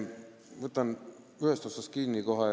Võtan ühest otsast kinni.